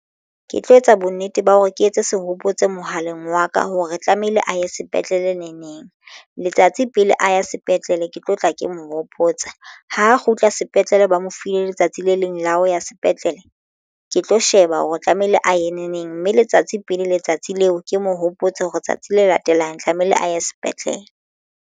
Ke tlo etsa bonnete ba hore ke etse sehopotso mohaleng wa ka hore tlamehile a ye sepetlele ne neng letsatsi pele a ya sepetlele ke tlo tla ke mo hopotsa ho kgutla sepetlele tlele ba mo file letsatsi le leng la ho ya sepetlele ke tlo sheba hore tlamehile a ye neneng mme letsatsi pele letsatsi leo ke mo hopotse hore tsatsi le latelang tlamehile a ye sepetlele.